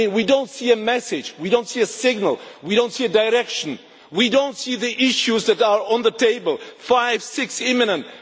We do not see a message, we do not see a signal, we do not see a direction, we do not see the issues that are on the table five, six imminent